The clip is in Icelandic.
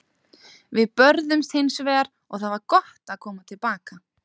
Við börðumst hins vegar og það var gott að koma til baka.